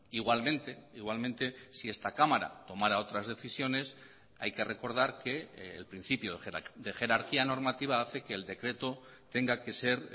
igualmente igualmente si esta cámara tomara otras decisiones hay que recordar que el principio de jerarquía normativa hace que el decreto tenga que ser